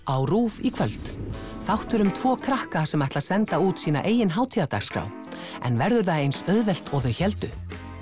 á RÚV í kvöld þáttur um tvo krakka sem ætla að senda út sína eigin hátíðardagskrá en verður það eins auðvelt og þau héldu